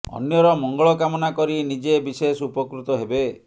ଅନ୍ୟର ମଙ୍ଗଳ କାମନା କରି ନିଜେ ବିଶେଷ ଉପକୃତ ହେବେ